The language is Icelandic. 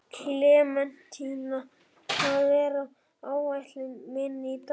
Klementína, hvað er á áætluninni minni í dag?